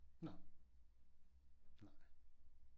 Nå. Nej